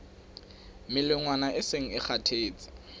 melongwana e seng e kgathetse